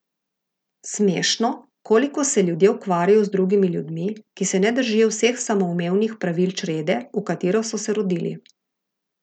Smešno, koliko se ljudje ukvarjajo z drugimi ljudmi, ki se ne držijo vseh samoumevnih pravil črede, v katero so se rodili.